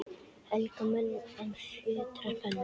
Helga menn, er fjötrar spenna